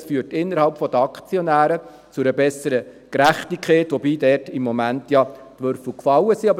Dies führte innerhalb der Aktionäre zu einer besseren Gerechtigkeit, wobei da im Moment die Würfel gefallen sind.